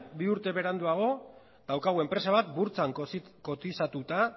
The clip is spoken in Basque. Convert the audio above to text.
bi urte beranduago daukagu enpresa bat burtsan kotizatuta